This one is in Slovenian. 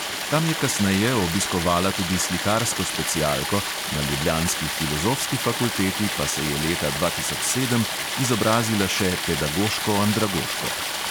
Tam je kasneje obiskovala tudi slikarsko specialko, na ljubljanski filozofski fakulteti pa se je leta dva tisoč sedem izobrazila še pedagoško-andragoško.